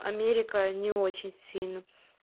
америка не очень сильно